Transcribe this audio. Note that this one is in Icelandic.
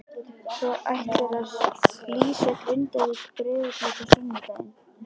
Svo ætlarðu að lýsa Grindavík- Breiðablik á sunnudaginn?